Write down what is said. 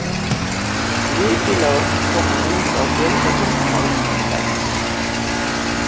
Lykilorð koma út á fjölda tungumála, til dæmis.